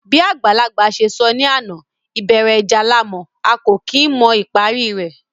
Bí àgbàlagbà se sọ ní àná, ìbẹ̀rẹ̀ ìjà la mọ̀, a kò kí n mọ ìparí rẹ̀